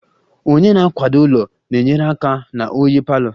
Onye na-akwado ụlọ na-enyere aka na oyi palour